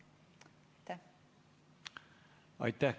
Aitäh!